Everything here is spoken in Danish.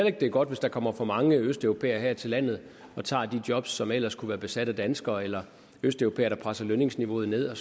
ikke det er godt hvis der kommer for mange østeuropæere her til landet og tager de jobs som ellers skulle være besat af danskere eller østeuropæere der presser lønningsniveauet ned og